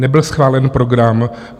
Nebyl schválen program.